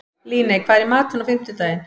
Líney, hvað er í matinn á fimmtudaginn?